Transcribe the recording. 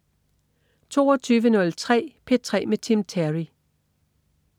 22.03 P3 med Tim Terry